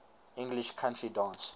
english country dance